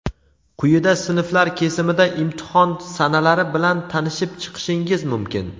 Quyida sinflar kesimida imtihon sanalari bilan tanishib chiqishingiz mumkin.